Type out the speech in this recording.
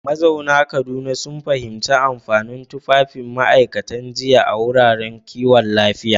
Mazauna Kaduna sun fahimci amfanin tufafin ma’aikatan jinya a wuraren kiwon lafiya.